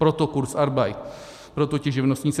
Proto kurzarbeit, proto ti živnostníci.